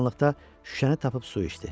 Qaranlıqda şüşəni tapıb su içdi.